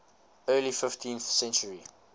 early fifteenth century